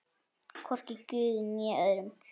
Hvorki guði né öðrum.